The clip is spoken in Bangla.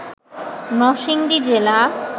নরসিংদী জেলা